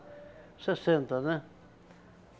Sessenta, né?